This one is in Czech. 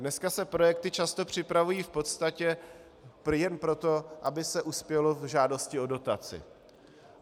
Dneska se projekty často připravují v podstatě jen proto, aby se uspělo v žádosti o dotaci.